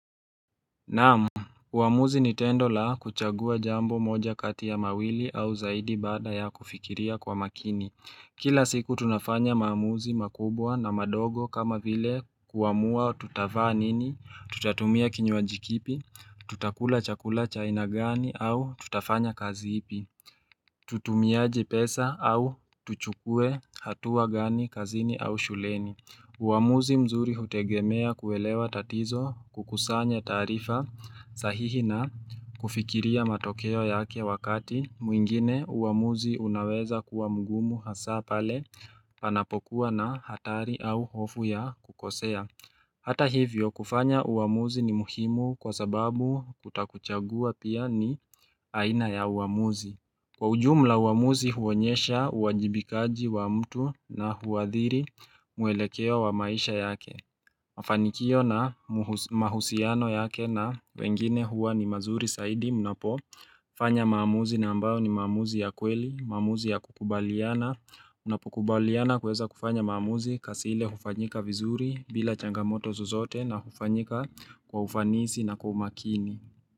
Naam, uamuzi ni tendo la kuchagua jambo moja kati ya mawili au zaidi bada ya kufikiria kwa makini. Kila siku tunafanya maamuzi makubwa na madogo kama vile kuamua tutavaa nini, tutatumia kinywaji kipi, tutakula chakula cha aina gani au tutafanya kazi ipi. Tutumiaje pesa au tuchukue hatua gani kazini au shuleni. Uwamuzi mzuri hutegemea kuelewa tatizo kukusanya taarifa sahihi na kufikiria matokeo yake wakati mwingine uwamuzi unaweza kuwa mgumu hasa pale panapokuwa na hatari au hofu ya kukosea. Hata hivyo kufanya uwamuzi ni muhimu kwa sababu kutokuchagua pia ni aina ya uwamuzi. Kwa ujumla uamuzi huonyesha uwajibikaji wa mtu na huathiri muelekeo wa maisha yake. Mafanikio na mahusiano yake na wengine huwa ni mazuri zaidi mnapo. Fanya maamuzi na ambayo ni maamuzi ya kweli, maamuzi ya kukubaliana. Unapukubaliana kuweza kufanya maamuzi kazi ile hufanyika vizuri bila changamoto zozote na hufanyika kwa ufanisi na kwa umakini.